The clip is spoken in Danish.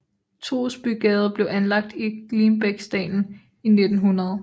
Toosbygade blev anlagt i Glimbækdalen i 1900